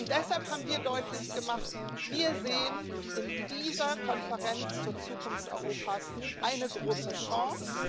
Deshalb haben wir deutlich gemacht Wir sehen in dieser Konferenz zur Zukunft Europas eine große Chance.